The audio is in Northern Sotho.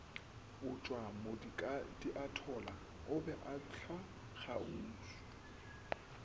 butšwamokadiathola o be a hlwakgauswi